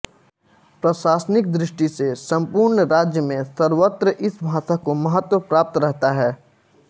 प्रशासनिक दृष्टि से सम्पूर्ण राज्य में सर्वत्र इस भाषा को महत्त्व प्राप्त रहता है